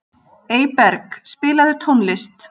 Eyberg, spilaðu tónlist.